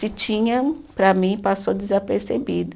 Se tinha, para mim, passou desapercebido.